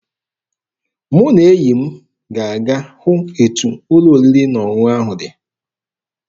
Mụ na enyi m ga-aga hụ etu ụlọ oriri na ọṅụṅụ ahụ dị.